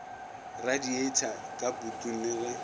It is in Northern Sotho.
radieitha ka putung le ge